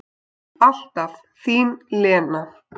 Alltaf þín Lena.